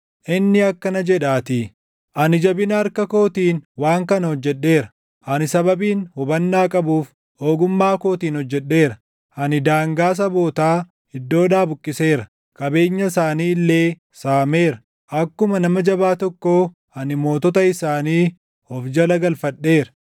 Inni akkana jedhaatii: “ ‘Ani jabina harka kootiin waan kana hojjedheera; ani sababiin hubannaa qabuuf, // ogummaa kootiin hojjedheera. Ani daangaa sabootaa iddoodhaa buqqiseera; qabeenya isaanii illee saameera. Akkuma nama jabaa tokkoo ani mootota isaanii // of jala galfadheera.